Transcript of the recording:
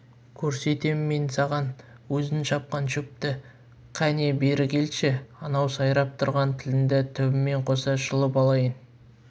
көрсетем мен саған өзің шапқан шөпті кәне бері келші анау сайрап тұрған тіліңді түбімен қосып жұлып алайын